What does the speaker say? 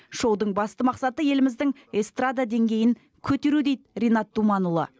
шоудың басты мақсаты еліміздің эстрада деңгейін көтеру дейді ринат думанұлы